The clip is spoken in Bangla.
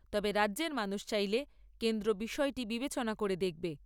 তবে রাজ্যের মানুষ চাইলে, কেন্দ্র বিষয়টি বিবেচনা করে দেখবে